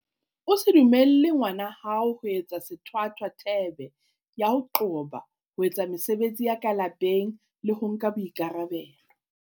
O se dumelle ngwana hao ho etsa sethwathwa thebe ya ho qoba ho etsa mesebetsi ya ka lapeng le ho nka boikarabelo.